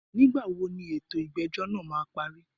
Nígbà wo ni ètò ìgbẹ́jọ́ náà má a parí?